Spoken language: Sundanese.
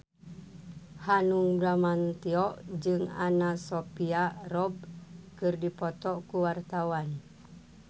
Hanung Bramantyo jeung Anna Sophia Robb keur dipoto ku wartawan